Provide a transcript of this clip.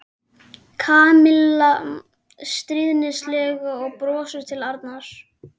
Kamilla stríðnislega og brosti til Arnars.